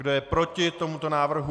Kdo je proti tomuto návrhu?